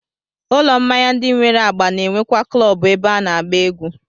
Ụlọ mmanya ndị nwere agba na-enwekwa klọọbụ ebe a na-agba egwú